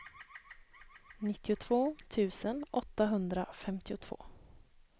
nittiotvå tusen åttahundrafemtiotvå